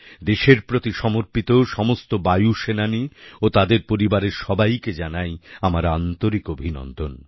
দেশের প্রতি সমর্পিত সমস্ত বায়ুসেনানী ও তাদের পরিবারের সবাইকে জানাই আমার আন্তরিক অভিনন্দন